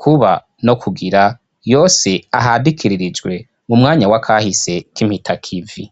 kuba no kugira yose ahandikiririjwe mu mwanya w'akahise k'impitakivi